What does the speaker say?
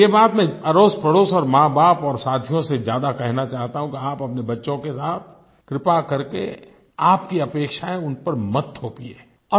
लेकिन ये बात मैं अड़ोसपड़ोस और माँबाप और साथियों से ज्यादा कहना चाहता हूँ कि आप अपने बच्चों के साथ कृपा करके आपकी अपेक्षायें उन पर मत थोपिए